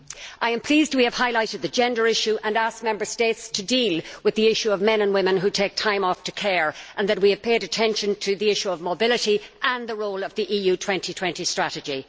I am pleased we have highlighted the gender issue and asked Member States to deal with the issue of men and women who take time off to care and that we have paid attention to the issue of mobility and the role of the EU 2020 strategy.